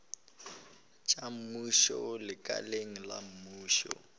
tša mmušo lekaleng la mmušo